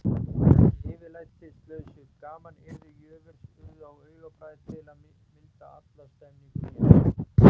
Þessi yfirlætislausu gamanyrði jöfurs urðu á augabragði til að milda alla stemmninguna mjög.